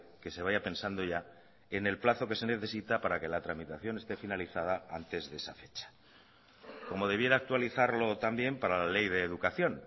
que se vaya pensando ya en el plazo que se necesita para que la tramitación esté finalizada antes de esa fecha como debiera actualizarlo también para la ley de educación